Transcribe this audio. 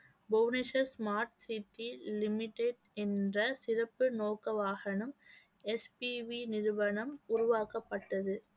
Bhubaneswar smart city limited என்ற சிறப்பு நோக்க வாகனம் எஸ் பி வி நிறுவனம் உருவாக்கப்பட்டது